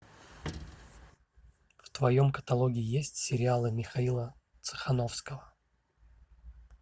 в твоем каталоге есть сериалы михаила цехановского